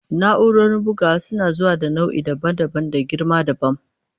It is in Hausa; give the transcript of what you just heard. Na'urorin bugawa suna zuwa da nau'i daban-daban da girma dabam.